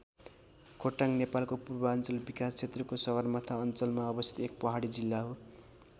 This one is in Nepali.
खोटाङ नेपालको पूर्वाञ्चल विकास क्षेत्रको सगरमाथा अञ्चलमा अवस्थित एक पहाडी जिल्ला हो।